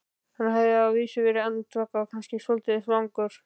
Hann hafði að vísu verið andvaka og kannski svolítið svangur.